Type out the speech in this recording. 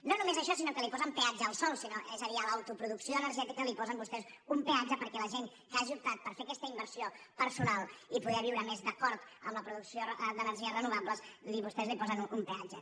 no només això sinó que li posen peatge al sol és a dir a l’autoproducció energètica li posen vostès un peatge perquè la gent que hagi optat per fer aquesta inversió personal i poder viure més d’acord amb la producció d’energies renovables vostès li posen un peatge